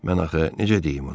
Mən axı necə deyim ona?